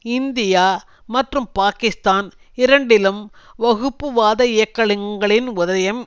India மற்றும் பாக்கிஸ்தான் இரண்டிலும் வகுப்புவாத இயக்கங்களின் உதயம்